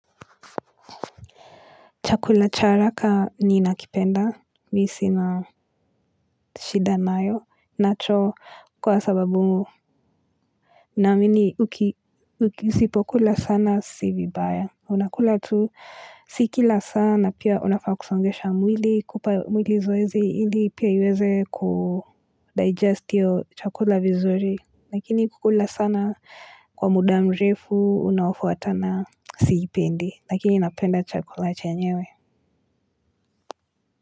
Chakula cha haraka ni nakipenda, mimi sina shida nayo, nacho kwa sababu. Naamini usipo kula sana sivibaya. Unakula tu sikila sana pia unafaak kusongesha mwili kupa mwili zoezi hili pia iweze kudigest iyo chakula vizuri. Lakini kukula sana kwa muda mrefu unaofuatana siipendi, lakini napenda chakula chenyewe.